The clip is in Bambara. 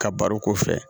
Ka baro k'o fɛ